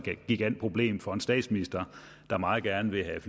et gigantproblem for en statsminister der meget gerne vil have